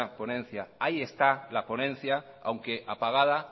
ponencia ahí está la ponencia aunque apagada